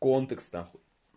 контекс нахуй